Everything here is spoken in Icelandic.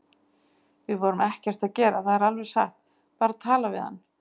Við vorum ekkert að gera, það er alveg satt, bara að tala við hann